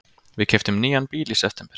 Við keyptum nýjan bíl í september.